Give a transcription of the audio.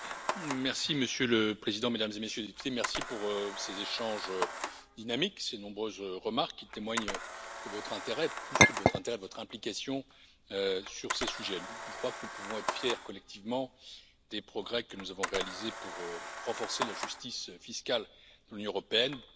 Monsieur le Président, Mesdames et Messieurs les députés, merci pour ces échanges dynamiques, ces nombreuses remarques qui témoignent de votre intérêt, et plus que de votre intérêt, de votre implication sur ces sujets. Je crois que nous pouvons être fiers collectivement des progrès que nous avons réalisés pour renforcer la justice fiscale dans l'Union européenne. Depuis